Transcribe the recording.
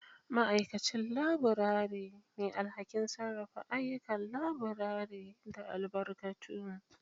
Ma'aikacin Laburare: Mai alhakin sarrafa ayyukan laburare da albarkatu.